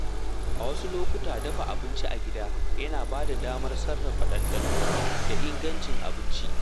A wasu lokuta, dafa abinci a gida yana bada damar sarrafa ɗanɗano da ingancin abinci.